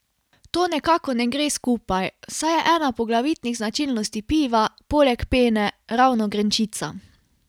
To nekako ne gre skupaj, saj je ena poglavitnih značilnosti piva, poleg pene, ravno grenčica.